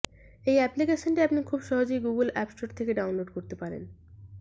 এই অ্যাপ্লিকেশনটি আপনি খুব সহজেই গুগুল অ্যাপ স্টোর থেকে ডাউনলোড করতে পারেন